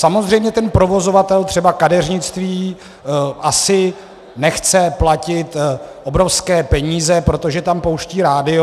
Samozřejmě ten provozovatel, třeba kadeřnictví, asi nechce platit obrovské peníze, protože tam pouští rádio.